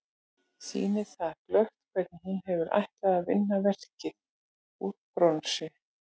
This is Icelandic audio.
Sýnir það glöggt hvernig hún hefur ætlað að vinna verkið úr bronsi.